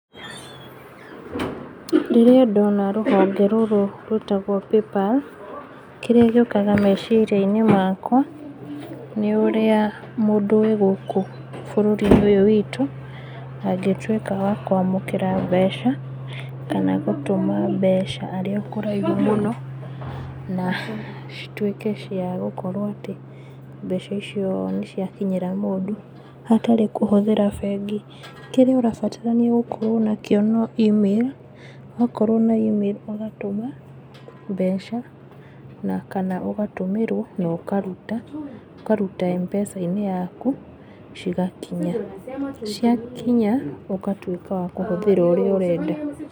Rĩrĩa ndona rũhonge rũrũ rwĩtagwo paypal, kĩrĩa gĩũkaga meciria-inĩ makwa, nĩ úrĩa mũndũ wĩ gũkũ bũrũri-inĩ ũyũ witũ, angĩtwĩka wa kwamũkĩra mbeca, kana wa gũtũma mbeca arĩ o kũraihu mũno, na, citwĩke cia gũkorwo atĩ, mbeca icio nĩciakinyĩra mũndũ, hatarĩ kũhũthĩra bengi, kĩrĩa ũrabatara nĩgũkorwo nakĩo no email, wakorwo na email ũgatũma, mbeca, na kana ũgatũmĩrwo nokaruta, ũkaruta M-PESA-inĩ yaku, cigakinya, ciakinya, ũgatwĩka wa kũhũthĩra ũrĩa ũrenda.